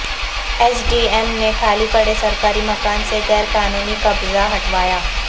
S D M نے خالی پڑے سرکاری مکان سے غیر قانونی قبضہ ہٹوایا